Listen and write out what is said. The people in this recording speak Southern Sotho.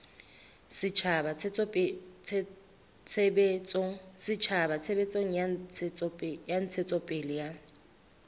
setjhaba tshebetsong ya ntshetsopele ya